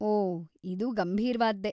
ಓಹ್‌, ಇದು ಗಂಭೀರ್ವಾದ್ದೇ.